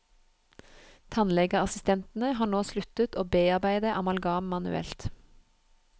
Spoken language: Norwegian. Tannlegeassistentene har nå sluttet å bearbeide amalgam manuelt.